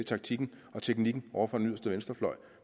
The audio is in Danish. taktikken og teknikken ovre fra den yderste venstrefløj